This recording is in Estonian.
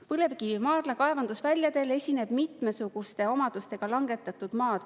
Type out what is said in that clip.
Põlevkivimaardla kaevandusväljadel esineb mitmesuguste omadustega langetatud maad.